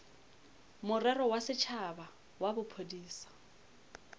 morero wa setšhaba wa bophodisa